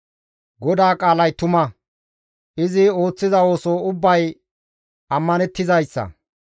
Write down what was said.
GODAA qaalay tuma; izi ooththiza ooso ubbay ammanettizayssa.